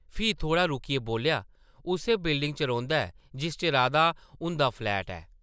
फ्ही थोह्ड़ा रुकियै बोल्लेआ, उस्सै बिल्डिङ च रौंह्दा ऐ जिस च राधा हुंदा फ्लैट ऐ ।